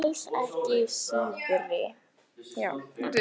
Já, þú ert alls ekki síðri.